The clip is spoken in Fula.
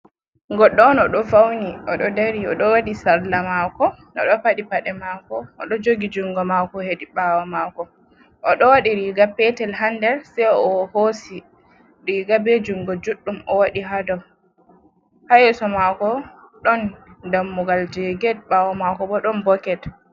Goɗɗo on oɗo fauni. Oɗo ɗari, oɗo waɗi salla mako, oɗo paɗi paɗe mako, oɗo jogi jungo mako heɗi ɓawo mako. Oɗo waɗi riga petel ha nɗer, sai o hosi riga ɓe jungo juɗɗum o waɗi ɗow. Ha yeso mako ɗon ɗammugal je get, ɓawo mako ɓo ɗon boket.